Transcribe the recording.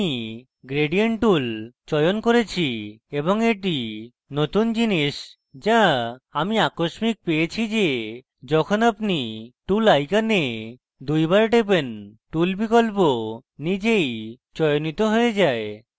আমি gradient tool চয়ন করেছি এবং এটি নতুন জিনিস যা আমি আকস্মিক পেয়েছি যে যখন আপনি tool icon দুইবার টেপেন tool বিকল্প নিজেই চয়নিত হয়ে যায়